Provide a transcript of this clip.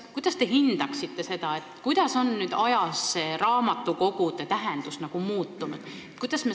Kuidas te hindaksite seda, kas raamatukogude tähendus on ajas muutunud?